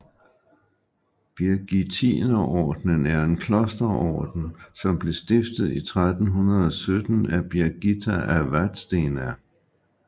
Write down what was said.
Birgittinerordenen er en klosterorden som blev stiftet i 1370 af Birgitta af Vadstena